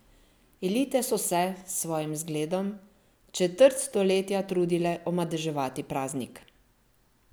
Elite so se, s svojim zgledom, četrt stoletja trudile omadeževati praznik!